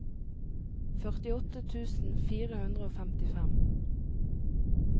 førtiåtte tusen fire hundre og femtifem